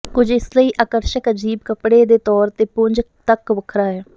ਕੁਝ ਇਸ ਲਈ ਆਕਰਸ਼ਕ ਅਜੀਬ ਕੱਪੜੇ ਦੇ ਤੌਰ ਤੇ ਪੁੰਜ ਤੱਕ ਵੱਖਰਾ ਹੈ